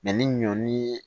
ni ɲɔ ni